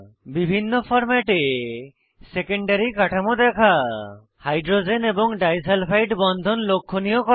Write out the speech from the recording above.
বিভিন্ন ফরম্যাটে সেকেন্ডারী কাঠামো দেখা হাইড্রোজেন এবং ডাইসালফাইড বন্ধন লক্ষনীয় করা